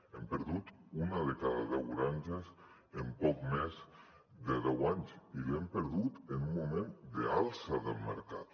hem perdut una de cada deu granges en poc més de deu anys i l’hem perdut en un moment d’alça del mercat